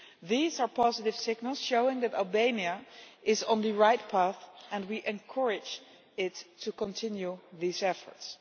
These are positive signals, showing that Albania is on the right path, and we encourage it to continue these efforts.